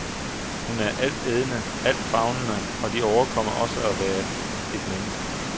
Hun er altædende, altfavnende, og overkommer også at være et menneske.